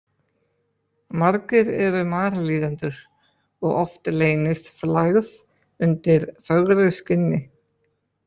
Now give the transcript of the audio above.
Margir eru marlíðendur og oft leynist flagð undir fögru skinni.